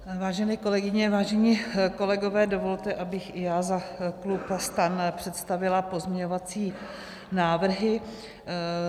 Vážené kolegyně, vážení kolegové, dovolte, abych i já za klub STAN představila pozměňovací návrhy.